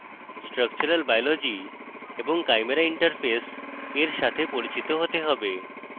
structural biology এবং chimera interface এর সাথে পরিচিত হতে হবে